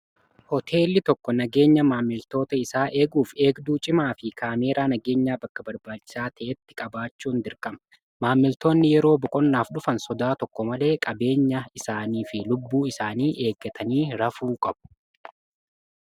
hooteelli tokko nageenya maammiltoota isaa eeguuf eegduu cimaa fi kaameeraa nageenya bakka barbaachisaa ta'etti qabaachuun dirqama. maammiltoonni yeroo boqonnaaf dhufan sodaa tokko malee qabeenya isaanii fi lubbuu isaanii eeggatanii rafuu qabu.